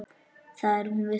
Það er hún viss um.